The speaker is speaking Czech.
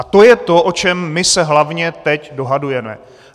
A to je to, o čem my se hlavně teď dohadujeme.